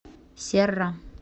серра